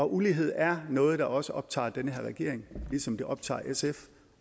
ulighed er noget der også optager den her regering ligesom det optager sf